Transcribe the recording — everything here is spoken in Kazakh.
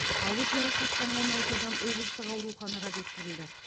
ауыр жарақаттанған алты адам облыстық ауруханаға жеткізілді